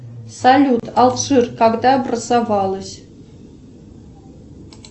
салют алжир когда образовалось